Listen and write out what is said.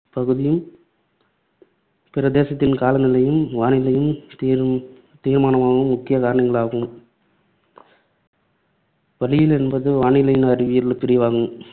பகுதியின் பிரதேசத்தின் காலநிலையும், வானிலையும் தீர்~ தீர்மானிக்கும் முக்கிய காரணிகளாகும். வளியியல் என்பது வானிலையின் அறிவியல் பிரிவாகும்.